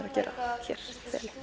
að gera hér